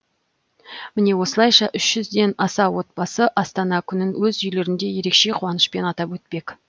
міне осылайша үш жүзден аса отбасы астана күнін өз үйлерінде ерекше қуанышпен атап өтпек